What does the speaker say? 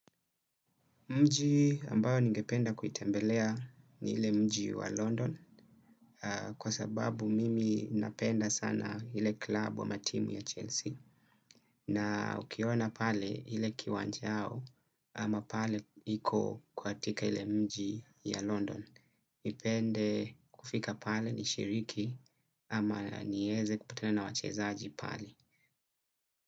Mji ambayo ningependa kuitembelea ni ile mji wa London kwa sababu mimi napenda sana ile club ama timu ya Chelsea, na ukiona pale ile kiwanja yao ama pale iko katika ile mji ya London. Nipende kufika pale nishiriki ama nieze kupatena na wachezaji pale.